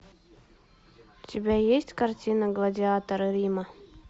у тебя есть картина гладиаторы рима